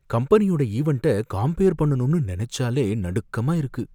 கம்பெனியோட ஈவன்ட்ட காம்பியர் பண்ணனும்னு நெனச்சாலே நடுக்கமா இருக்கு.